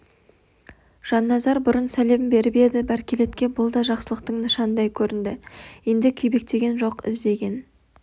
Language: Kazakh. жанназар бұрын сәлем беріп еді бәркелетке бұл да жақсылықтың нышанындай көрінді енді күйбектеген жоқ іздеген